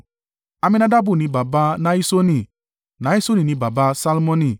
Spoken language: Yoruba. Amminadabu ni baba Nahiṣoni, Nahiṣoni ni baba Salmoni,